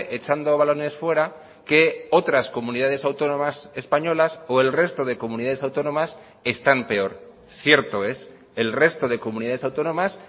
echando balones fuera que otras comunidades autónomas españolas o el resto de comunidades autónomas están peor cierto es el resto de comunidades autónomas